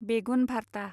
बेगुन भारता